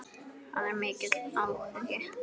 Það er mikill áhugi.